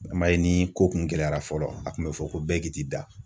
I m'a ye ni ko kun gɛlɛyara fɔlɔ a kun be fɔ ko bɛɛ k'i t'i da.